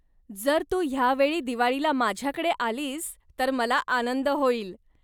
जर तू ह्यावेळी दिवाळीला माझ्याकडे आलीस तर मला आनंद होईल.